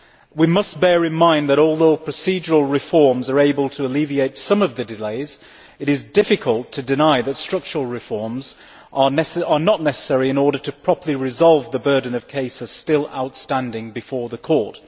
We must bear in mind that, although procedural reforms are able to alleviate some of the delays, it is difficult to deny that structural reforms are necessary in order to properly resolve the burden of cases still outstanding before the Court.